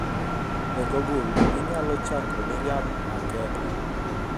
e google inyalo chako miriam makeba